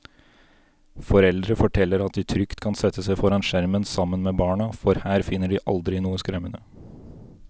Foreldre forteller at de trygt kan sette seg foran skjermen sammen med barna, for her finner de aldri noe skremmende.